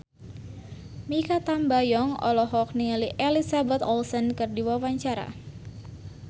Mikha Tambayong olohok ningali Elizabeth Olsen keur diwawancara